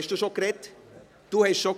Gut, Sie haben bereits gesprochen.